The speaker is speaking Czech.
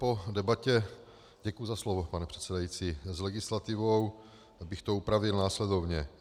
Po debatě - děkuji za slovo, pane předsedající - s legislativou bych to upravil následovně.